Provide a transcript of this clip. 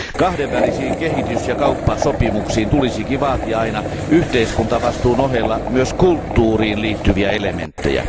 Kahdenvälisiin kehitys ja kauppasopimuksiin tulisikin vaatia aina yhteiskuntavastuun ohella myös kulttuuriin liittyviä elementtejä.